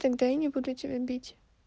тогда я не буду тебя бить